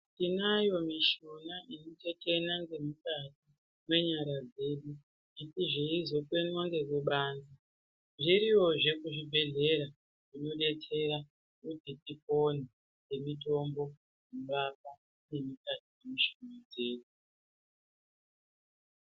Tinayo mishuna inotetena ngemukati mwenyara dzedu asi zveizokwenwa nekubanze, zviroyozve kuzvibhedhlera zvinodetsera kuti tipone ngemitombo inorapa ngemukati mwemishuna dzedu.